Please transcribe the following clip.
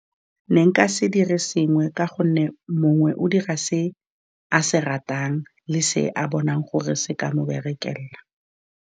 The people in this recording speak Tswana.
Ne nka se dire sengwe, ka gonne mongwe o dira se a se ratang, le se a bonang gore se ka mo berekela.